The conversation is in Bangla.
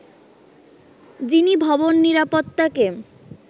যিনি ভবন নিরাপত্তাকে